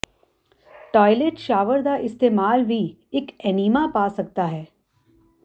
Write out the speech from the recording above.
toilet shower ਦਾ ਇਸਤੇਮਾਲ ਵੀ ਇੱਕ ਏਨੀਮਾ ਪਾ ਸਕਦਾ ਹੈ